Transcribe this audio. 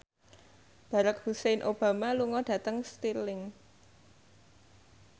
Barack Hussein Obama lunga dhateng Stirling